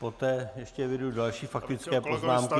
Poté ještě eviduji další faktické poznámky.